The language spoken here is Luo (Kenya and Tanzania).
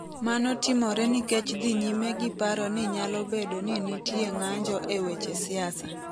Mano timore nikech dhi nyime gi paro ni nyalo bedo ni nitie ng’anjo e weche siasa.